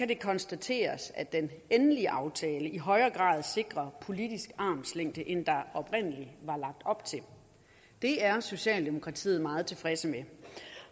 det konstateres at den endelige aftale i højere grad sikrer politisk armslængde end der oprindeligt var lagt op til det er socialdemokratiet meget tilfredse med